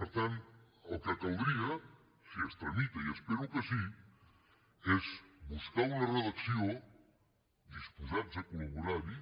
per tant el que caldria si es tramita i espero que sí és buscar una redacció disposats a col·laborar hi